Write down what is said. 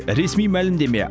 ресми мәлімдеме